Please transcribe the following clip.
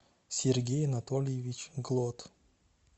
сергей анатольевич глот